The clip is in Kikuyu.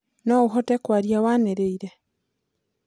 no ũhote kwaria waniriire